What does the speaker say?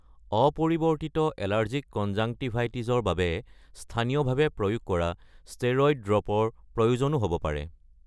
অপৰিৱৰ্তিত এলাৰ্জিক কনজাংটিভাইটিছৰ বাবে স্থানীয়ভাৱে প্ৰয়োগ কৰা ষ্টেৰইড ড্ৰপৰ প্ৰয়োজনো হ’ব পাৰে।